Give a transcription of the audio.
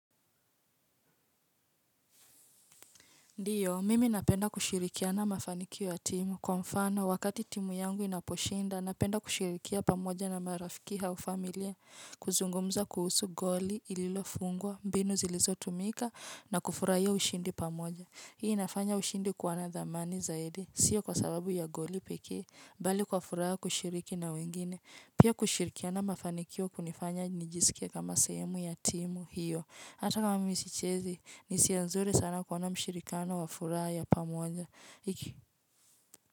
Ndiyo, mimi napenda kusherehekea mafanikio ya timu. Kwa mfano, wakati timu yangu inaposhinda, napenda kusherehekea pamoja na marafiki au familia. Kuzungumza kuhusu goli, lililo fungwa, mbinu zilizotumika, na kufurahia ushindi pamoja. Hii inafanya ushindi kuwa na thamani zaidi, siyo kwa sababu ya goli pekee, bali kwa furaha kushiriki na wengine. Pia kusherehekea mafanikio kunanifanya nijisikie kama sehemu ya timu hiyo. Hata kama mimi sichezi ni hisia nzuri sana kuwa na ushirikiano wa furaha ya pamoja iki.